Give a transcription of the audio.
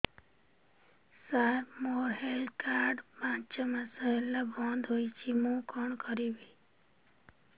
ସାର ମୋର health card ପାଞ୍ଚ ମାସ ହେଲା ବଂଦ ହୋଇଛି ମୁଁ କଣ କରିବି